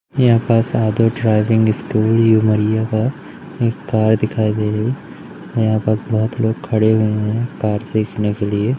यहां पर Sadhu driving school Umaria का एक कार दिखाई दे रही यहां पास बहोत लोग खड़े हुए हैं कार सीखने के लिए--